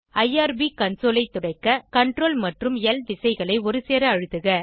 IRB console ஐ துடைக்க CRTL மற்றும் ல் விசைகளை ஒருசேர அழுத்துக